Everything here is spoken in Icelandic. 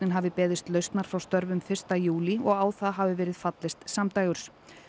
hafi beðist lausnar frá störfum fyrsta júlí og á það hafi verið fallist samdægurs